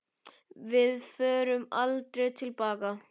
Við förum aldrei til baka.